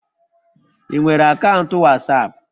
Ị nwere akaụntụ wasapu